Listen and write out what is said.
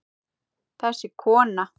Þessi kona!